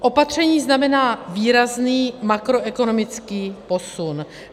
Opatření znamená výrazný makroekonomický posun.